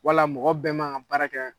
Wala mɔgɔ bɛɛ ma kan baara kɛ.